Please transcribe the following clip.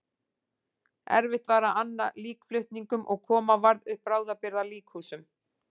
Erfitt var að anna líkflutningum og koma varð upp bráðabirgða líkhúsum.